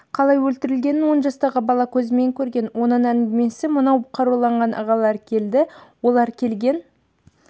қалай өлтірілгенін он жастағы бала көзімен көрген оның әңгімесі мынау қаруланған ағалар келді олар келген